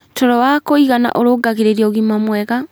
Toro wa kũigana ũrũngagĩrĩrĩa ũgima mwega